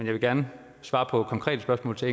vil gerne svare på konkrete spørgsmål til